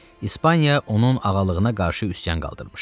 İspaniya onun ağalığına qarşı üsyan qaldırmışdı.